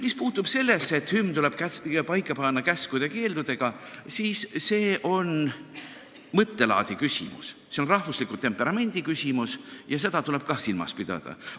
Mis puutub sellesse, et hümn tuleb paika panna käskude ja keeldudega, siis see on mõttelaadi küsimus, see on rahvusliku temperamendi küsimus ja seda tuleb ka silmas pidada.